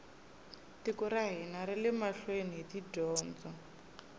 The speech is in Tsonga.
tiko ra hina rile mahlweni hi dyondzo